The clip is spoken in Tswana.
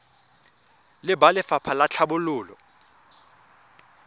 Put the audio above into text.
le ba lefapha la tlhabololo